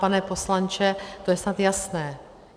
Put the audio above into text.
Pane poslanče, to je snad jasné.